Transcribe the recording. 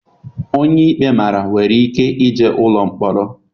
Onye ikpe mara nwere ike jee ụlọ mkpọrọ.